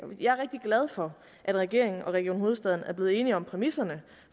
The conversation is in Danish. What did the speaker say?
jeg er rigtig glad for at regeringen og region hovedstaden er blevet enige om præmisserne